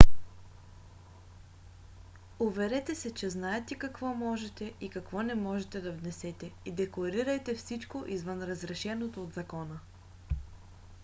уверете се че знаете какво можете и какво не можете да внесете и декларирайте всичко извън разрешеното от закона